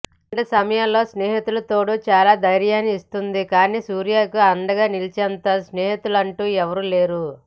ఇలాంటి సమయాల్లో స్నేహితుల తోడు చాలా ధైర్యాన్ని ఇస్తుంది కానీ సూర్యకు అండగా నిలిచేటంత స్నేహితులంటూ ఎవరూ లేరు